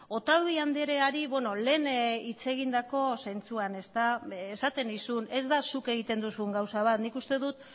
otadui andreari lehen hitz egindako zentzuan esaten nizun ez da zuk egiten duzun gauza bat nik uste dut